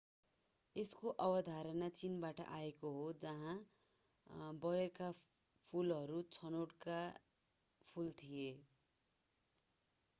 यसको अवधारणा चीनबाट आएको हो जहाँ बयरका फूलहरू छनोटका फूल थिए